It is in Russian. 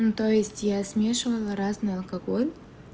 ну то есть я смешивала разный алкоголь